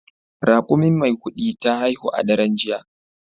Raƙumin Maikudi ta haihu a daren jiya.